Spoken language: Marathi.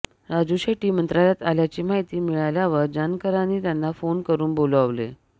राजू शेट्टी मंत्रालयात आल्याची माहिती मिळाल्यावर जानकरांनी त्यांना फोन करून बोलावले